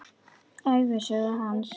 Ævisögu hans.